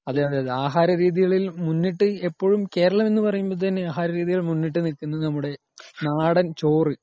അതെ അതെ.ആഹാരരീതികളിൽ മുന്നിട്ടു എപ്പോഴും ,കേരളം എന് പറയുമ്പോ തന്നെ ആഹാരരീതിയിൽ മുന്നിട്ടു നില്കുന്നത് നമ്മുടെ നാടൻ ചോറ് .